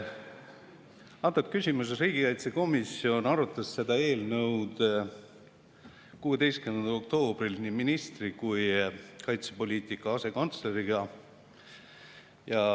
Riigikaitsekomisjon arutas seda eelnõu 16. oktoobril nii ministri kui kaitsepoliitika asekantsleriga.